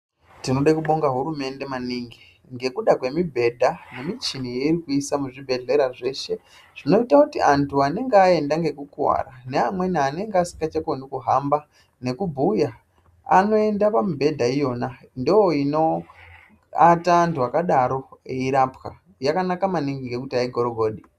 Tinode kubonge hurumende maningi ngekuda kwemibhedha nemichini yeirikuisa muzvibhehlera zveshe zvinoita kuti antu anenge aenda ngekukuwara neamweni anenge asikachakoni kuhamba nekubhuya anoenda pamibhedha iyona. Ndoinoenda antu eiwona eirapwa. Yakanaka maningi ngekuti aigorogodi.